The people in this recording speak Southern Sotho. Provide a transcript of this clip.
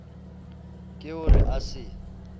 ke ho re a se